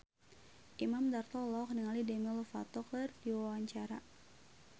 Imam Darto olohok ningali Demi Lovato keur diwawancara